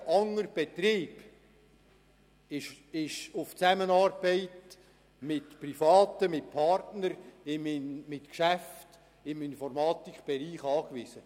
Jeder andere Betrieb ist auf die Zusammenarbeit mit Privaten, mit Partnern, mit Geschäften im Informatikbereich angewiesen.